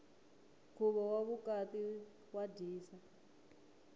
nkhuvo wa vukati wa dyisa